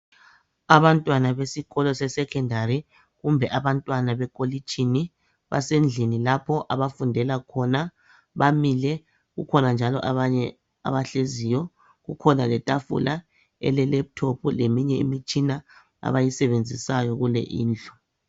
Abantwana besikolo seSekhendari kumbe abantwana beKolitshini basendlini lapho abafundela khona bamile. Kukhona njalo abanye abahleziyo, kukhona letafula elelephuthophu leminye imitshina abayisebenzisayo kule indlu.